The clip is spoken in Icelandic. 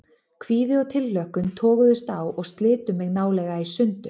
Kvíði og tilhlökkun toguðust á og slitu mig nálega í sundur.